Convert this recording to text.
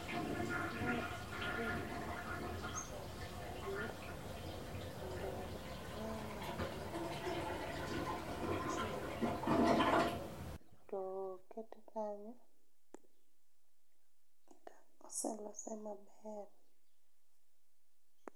Mae en ring'o moselir kendo ong'awe e tol mondo ochwer, to okete kanyo, oselose maber